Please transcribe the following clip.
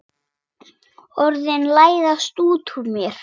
Orðin læðast út úr mér.